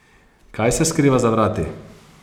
Kaj se skriva za vrati?